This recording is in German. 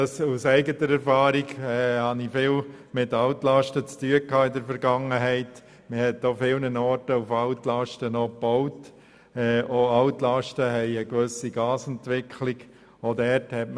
Aus eigener Erfahrung, weil ich oft mit Altlasten zu tun gehabt habe und vielfach mit Altlasten gebaut wird, weiss ich, dass es bei solchen zu einer gewissen Gasentwicklung kommen kann.